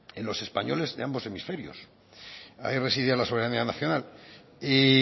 en los españoles de ambos hemisferios ahí residía la soberanía nacional y